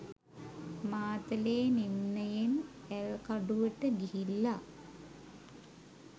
මාතලේ නිම්නයෙන් ඇල්කඩුවට ගිහිල්ල.